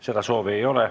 Seda soovi ei ole.